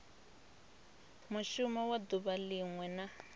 mushumo wa duvha linwe na